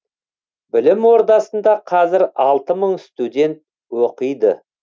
білім ордасында қазір алты мың студент оқиды